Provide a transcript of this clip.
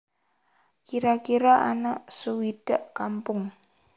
Kira kira ana suwidak kampung